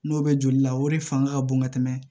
N'o bɛ joli la o de fanga ka bon ka tɛmɛ